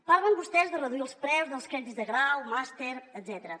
parlen vostès de reduir els preus dels crèdits de grau màster etcètera